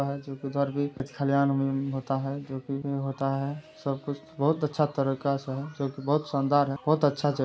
खेत खलियान में होता है जोकि में होता है सब कुछ बहुत अच्छा तरीके से है जो की बहुत शानदार है। बहुत अच्छा ]